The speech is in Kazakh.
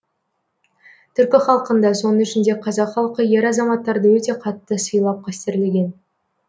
түркі халқында соның ішінде қазақ халқы ер азаматтарды өте қатты сыйлап қастерлеген